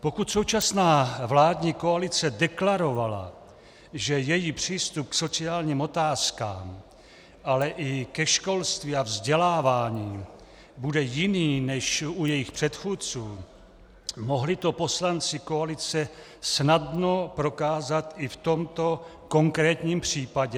Pokud současná vládní koalice deklarovala, že její přístup k sociálním otázkám, ale i ke školství a vzdělávání bude jiný než u jejich předchůdců, mohli to poslanci koalice snadno prokázat i v tomto konkrétním případě.